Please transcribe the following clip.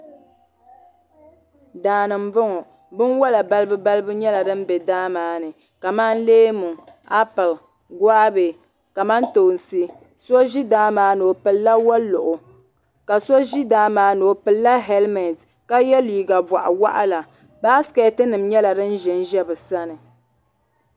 Daani mbɔŋɔ bini wola balibu balibu nyɛla dini bɛ daa maa ni kamani leemu apili guabɛ kamantoonsi so zi daa maa ni o pilila woluɣu ka so zi daa maa ni o pili la hɛlimɛnti ka ye liiga bɔɣi wɔɣila baaiketi nima nyɛla dini zɛ n zɛ bi sani.